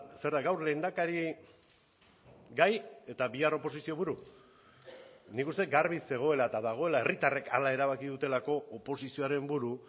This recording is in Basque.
zer da gaur lehendakari gai eta bihar oposizio buru nik uste dut garbi zegoela eta dagoela herritarrek hala erabaki dutelako oposizioaren buru